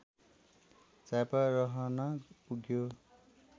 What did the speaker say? झापा रहन पुग्यो